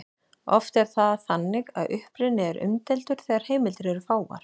Oft er það þannig að uppruni er umdeildur þegar heimildir eru fáar.